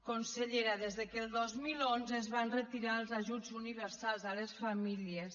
consellera des que el dos mil onze es van retirar els ajuts universals a les famílies